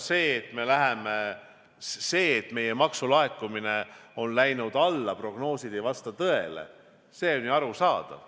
See, et meie maksulaekumine on läinud alla, prognoosid ei vasta tõele, on ju arusaadav.